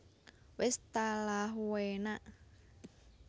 Wis talah uenaaakkk